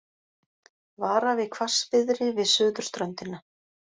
Varað við hvassviðri við suðurströndina